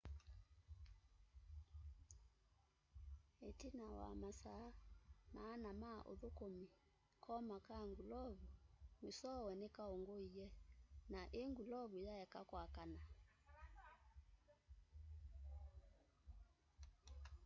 itina wa masaa maana ma uthukumi koma ka ngulovu mwisowe nikaunguie na i ngulovu yaeka kwakana